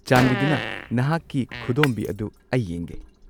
ꯆꯥꯟꯕꯤꯗꯨꯅ ꯅꯍꯥꯛꯀꯤ ꯈꯨꯗꯣꯝꯕꯤ ꯑꯗꯨ ꯑꯩ ꯌꯦꯡꯒꯦ꯫